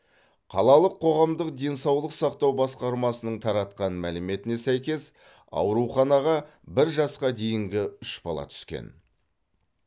қалалық қоғамдық денсаулық сақтау басқармасының таратқан мәліметіне сәйкес ауруханаға бір жасқа дейінгі үш бала түскен